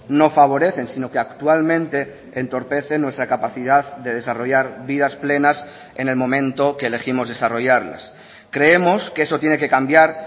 no favorecen sino que actualmente entorpecen nuestra capacidad de desarrollar vidas plenas en el momento que elegimos desarrollarlas creemos que eso tiene que cambiar